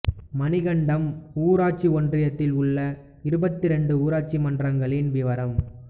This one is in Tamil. மணிகண்டம் ஊராட்சி ஒன்றியத்தில் உள்ள இருபத்தி இரண்டு ஊராட்சி மன்றங்களின் விவரம்